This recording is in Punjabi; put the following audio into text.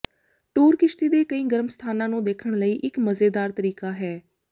ਟੂਰ ਕਿਸ਼ਤੀ ਦੇ ਕਈ ਗਰਮ ਸਥਾਨਾਂ ਨੂੰ ਦੇਖਣ ਲਈ ਇਕ ਮਜ਼ੇਦਾਰ ਤਰੀਕਾ ਹੈ